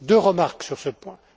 Deux remarques sur ce point.